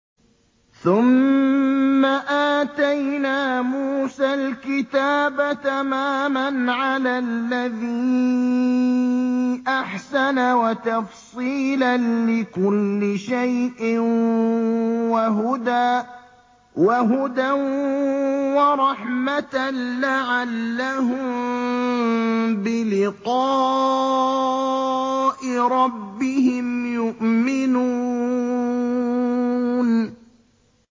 ثُمَّ آتَيْنَا مُوسَى الْكِتَابَ تَمَامًا عَلَى الَّذِي أَحْسَنَ وَتَفْصِيلًا لِّكُلِّ شَيْءٍ وَهُدًى وَرَحْمَةً لَّعَلَّهُم بِلِقَاءِ رَبِّهِمْ يُؤْمِنُونَ